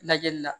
Lajɛli la